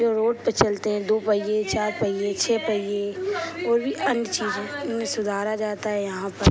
तैइयो road पे चलते है दु पहिये चार पहिये छे पहिये और भी अन्य चीजें इन्हें सुधारा जाता है यहां पर।